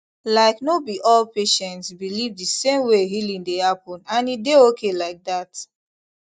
like no be all patients believe the same way healing dey happen and e dey okay like that